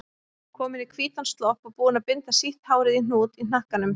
Komin í hvítan slopp og búin að binda sítt hárið í hnút í hnakkanum.